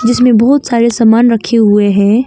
जिसमें बहुत सारे सामान रखे हुए हैं।